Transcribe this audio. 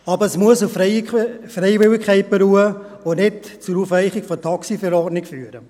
Aber es muss auf Freiwilligkeit beruhen und nicht zur Aufweichung der TaxiV führen.